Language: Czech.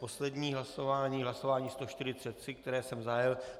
Poslední hlasování, hlasování 143, které jsem zahájil.